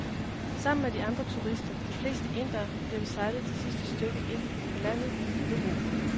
Sammen med de andre turister, de fleste indere, bliver vi sejlet det sidste stykke ind på land i en lille robåd.